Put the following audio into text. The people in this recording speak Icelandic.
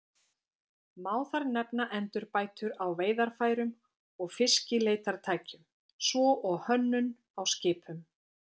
Má þar nefna endurbætur á veiðarfærum og fiskileitartækjum, svo og hönnun á skipum.